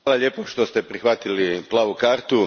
Hvala lijepo što ste prihvatili plavu kartu.